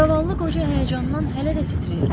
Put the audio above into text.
Zavallı qoca həyəcandan hələ də titrəyirdi.